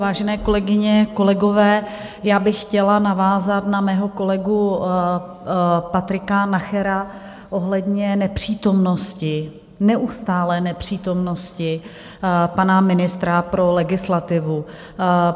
Vážené kolegyně, kolegové, já bych chtěla navázat na mého kolegu Patrika Nachera ohledně nepřítomnosti, neustálé nepřítomnosti pana ministra pro legislativu.